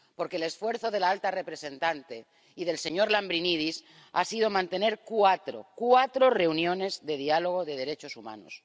porque el esfuerzo de la alta representante y del señor Lambrinidis ha sido mantener cuatro —cuatro— reuniones de diálogo sobre derechos humanos